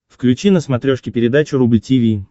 включи на смотрешке передачу рубль ти ви